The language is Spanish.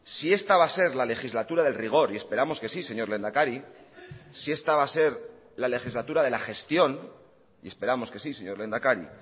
si esta va a ser la legislatura del rigor y esperamos que sí señor lehendakari si esta va a ser la legislatura de la gestión y esperamos que sí señor lehendakari